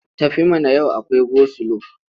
Tafi mana! Yau akwai gosilo.